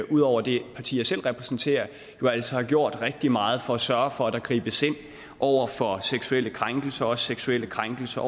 ud over det parti jeg selv repræsenterer altså har gjort rigtig meget for at sørge for at der gribes ind over for seksuelle krænkelser og også seksuelle krænkelser